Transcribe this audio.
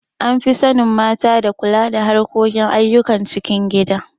An fi sanin mata da kula da harkokin ayyukan cikin gida.